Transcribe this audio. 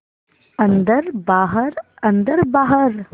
अन्दर बाहर अन्दर बाहर